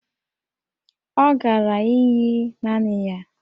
Ọ gara íyí naanị ya